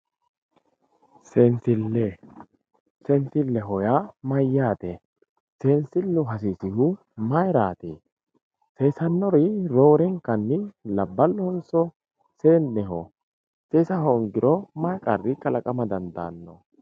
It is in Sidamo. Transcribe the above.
seensille, seensilleho yaa mayyaate seensillu hasiisihu mayiraati seesannori roorenkanni labballohonso seenneho seesa hoongiro may qarri kalaqama dandaanno.